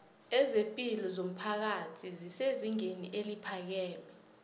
ezepilo zomphakathi zesezingeni eliphakeme